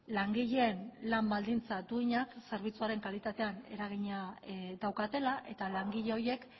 langileen lan baldintza duinek zerbitzuaren kalitatean eragina daukatela eta langile horiek